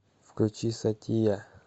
включи сатия